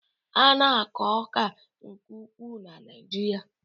A na-akọ ọka nke ukwuu na Naijiria